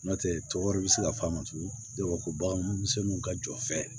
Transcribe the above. N'o tɛ cɛ wɛrɛ bɛ se ka f'a ma tugun ko bagan misɛnnuw ka jɔ fɛ